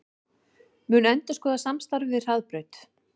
Mun endurskoða samstarfið við Hraðbraut